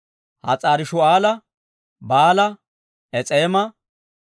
Has'aari-Shu'aala, Baala, Es'eema,